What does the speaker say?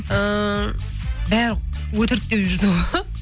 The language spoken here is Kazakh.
ыыы бәрі өтрік деп жүрді ғой